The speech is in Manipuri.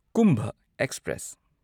ꯀꯨꯝꯚꯥ ꯑꯦꯛꯁꯄ꯭ꯔꯦꯁ